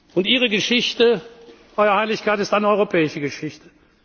Und Ihre Geschichte, Eure Heiligkeit, ist eine europäische Geschichte.